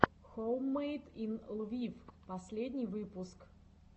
хоуммэйд ин лвив последний выпуск